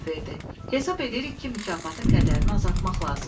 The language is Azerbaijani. Hesab edirik ki, mükafatın qədərini azaltmaq lazımdır.